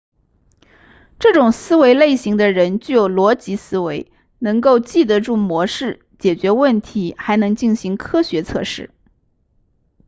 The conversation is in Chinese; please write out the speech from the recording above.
这种思维类型的人具有逻辑思维能够记得住模式解决问题还能进行科学测试